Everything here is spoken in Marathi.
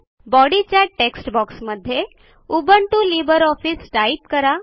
बॉडीच्या टेक्स्ट बॉक्समध्ये उबुंटू लिब्रे ऑफिस टाईप करा